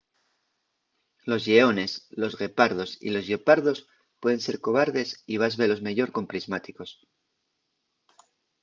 los lleones los guepardos y los lleopardos pueden ser cobardes y vas velos meyor con prismáticos